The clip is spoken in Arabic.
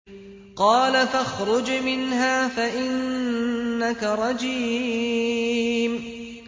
قَالَ فَاخْرُجْ مِنْهَا فَإِنَّكَ رَجِيمٌ